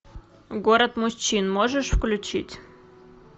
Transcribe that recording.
город мужчин можешь включить